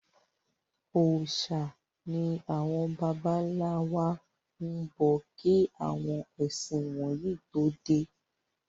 Òòsà ni àwọn bàbá ńlá wa ń bọ kí àwọn ẹ̀sìn wọ̀nyí tó dé.